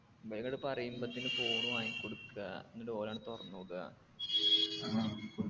ബേഗങ്ട് പറയുമ്പത്തേണ് phone വാങ്ങിക്കൊടുക്കാ ന്നിട്ട് ഓലങ്ട്ട് തൊറന്ന് നോക്കാ